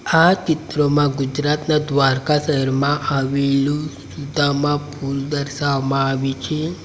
આ ચિત્રમાં ગુજરાતના દ્વારકા શહેરમાં આવેલું સુદામા પૂલ દર્શાવવામાં આવી છે.